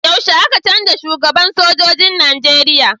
Yaushe aka cenja shugaban sojojin na nigeria?